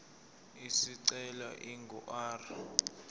isicelo ingu r